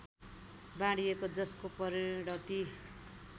बाँडिएको जसको परिणति